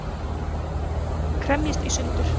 Kremjist í sundur.